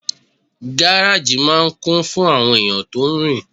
Gáràjì máà ń kún fún àwọn èèyàn tó rin